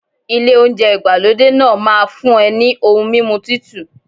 Ilé oúnjẹ ìgbàlódé náà máa fún ẹ ní ohun mímu Títù.